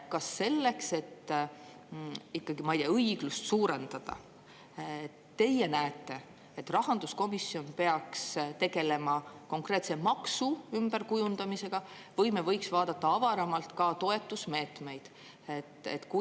Kas selleks, et ikkagi, ma ei tea, õiglust suurendada, teie arvates rahanduskomisjon peaks tegelema konkreetse maksu ümberkujundamisega või me võiks vaadata avaramalt ka toetusmeetmeid?